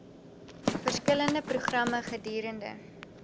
verskillende programme gedurende